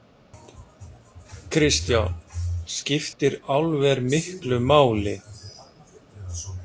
Kristján: Skiptir álver miklu máli?